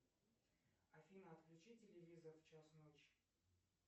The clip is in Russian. афина отключи телевизор в час ночи